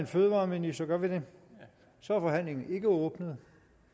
fødevareministeren jamen så er forhandlingen ikke åbnet